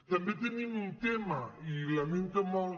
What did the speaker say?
també tenim un tema i lamento molt